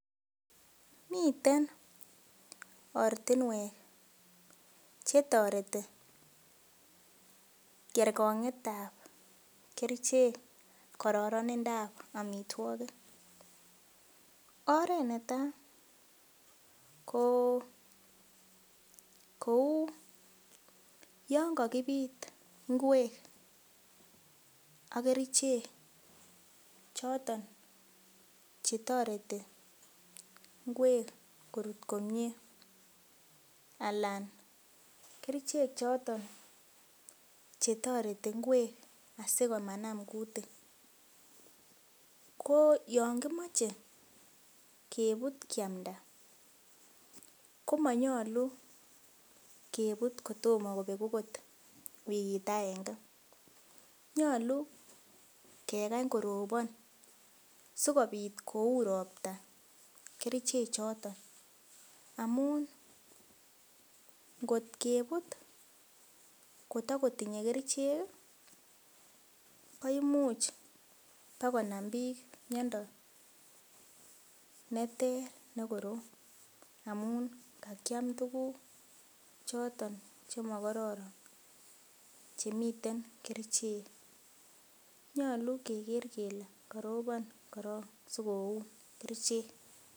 Miten oratinwek chetoreti kerkongetab kerichek kororonindap amitwokik oret neta koo kou yonkokibit ngwek ak kerichek chotok chetoreti ngwek korut komie alan kerichek chotok chetoreti ngwek asi komanam kutik kooyon komoche kebut kiamnda komonyolu kebut kotomo kobek akot wikit akenge nyolu kekany korobon sikopit koun ropta kerichek chotok amun ngot kebut kotokotinye kericheki koimuch ba konam bik miondo neter ne korom amun kakiam tuguk choton chemokororon chemiten kerichek nyolu keker kele karobon koron sikoun kerichek